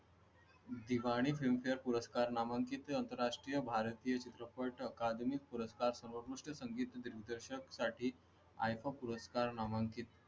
जिबा आणि फिल्मफेअर पुरस्कार नामांकित आंतरराष्ट्रीय भारतीय चित्रपट अकादमी पुरस्कार, सर्वोत्कृष्ट संगीत दिग्दर्शक साठी iifa पुरस्कार नामांकित